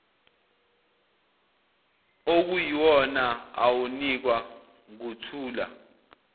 okuyiwona awunikwa nguthula